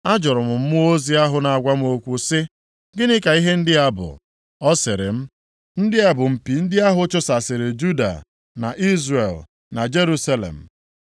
Ajụrụ m mmụọ ozi ahụ na-agwa m okwu sị, “Gịnị ka ihe ndị a bụ?” Ọ sịrị m, “Ndị a bụ mpi ndị ahụ chụsasịrị Juda, na Izrel, na Jerusalem.”